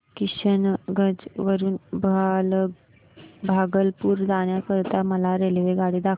किशनगंज वरून भागलपुर जाण्या करीता मला रेल्वेगाडी दाखवा